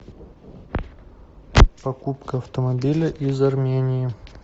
покупка автомобиля из армении